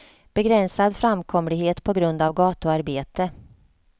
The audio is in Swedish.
Begränsad framkomlighet på grund av gatuarbete.